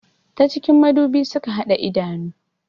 Ta cikin madubi suka hada idanu